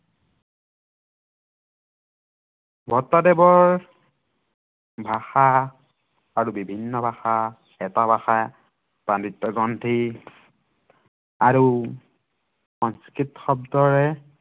ভট্টদেৱৰ ভাষা আৰু বিভিন্ন ভাষা আৰু সাংস্কৃত শব্দেৰে